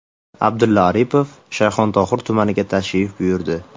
Abdulla Aripov Shayxontohur tumaniga tashrif buyurdi.